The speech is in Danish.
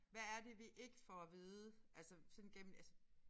Hvad er det vi ikke får at vide altså sådan gennem altså